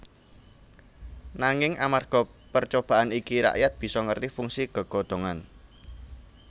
Nanging amarga percobaan iki rakyat bisa ngerti fungsi gegodhongan